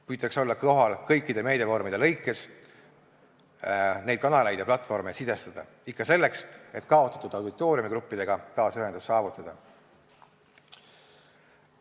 Püütakse olla kohal kõikides meediavormides, neid kanaleid ja platvorme sidestada, ikka selleks, et kaotatud auditooriumigruppidega taas ühendus saavutada.